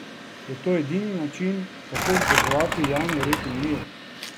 Je to edini način, kako vzdrževati javi red in mir?